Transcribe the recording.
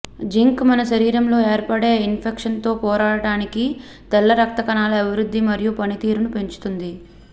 zinc మన శరీరంలో ఏర్పడే ఇన్ఫెక్షన్స్ తో పోరాడటానికి తెల్ల రక్త కణాల అభివృద్ధి మరియు పనితీరును పెంచుతుంది